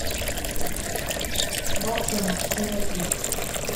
волчонок серия три